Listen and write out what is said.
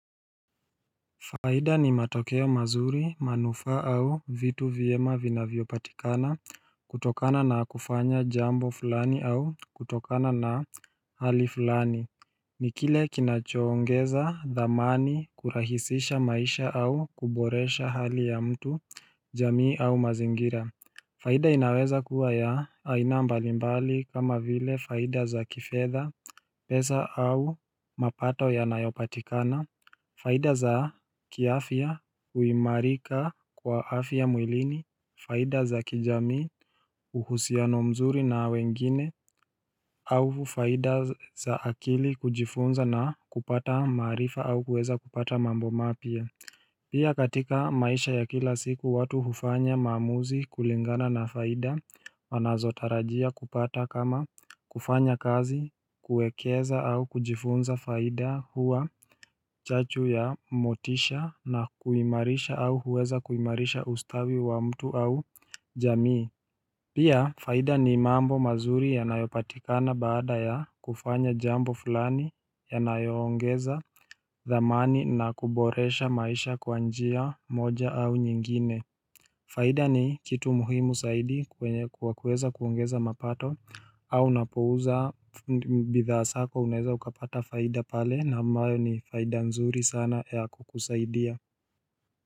Faida ni matokeo mazuri manufaa au vitu vyema vinavyopatikana kutokana na kufanya jambo fulani au kutokana na hali fulani ni kile kinachoongeza dhamani kurahisisha maisha au kuboresha hali ya mtu jamii au mazingira faida inaweza kuwa ya aina mbali mbali kama vile faida za kifedha pesa au mapato yanayopatikana faida za kiafya kuimarika kwa afya mwilini faida za kijamii uhusiano mzuri na wengine au faida za akili kujifunza na kupata maarifa au kuweza kupata mambo mapya Pia katika maisha ya kila siku watu hufanya maamuzi kulingana na faida Wanazotarajia kupata kama kufanya kazi kuwekeza au kujifunza faida huwa chachu ya motisha na kuimarisha au huweza kuimarisha ustawi wa mtu au jamii Pia faida ni mambo mazuri yanayopatikana baada ya kufanya jambo fulani yanayoongeza dhamani na kuboresha maisha kwa njia moja au nyingine faida ni kitu muhimu zaidi kwenye kwa kuweza kuongeza mapato au unapouza bidhaa zako unaweza ukapata faida pale na ambayo ni faida nzuri sana ya kukusaidia.